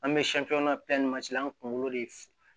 An bɛ an kunkolo de f